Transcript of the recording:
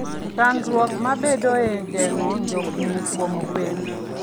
Chandruok mabedoe e geng'o njofni kuom gwen.